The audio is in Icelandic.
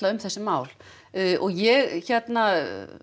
um þessi mál og ég hérna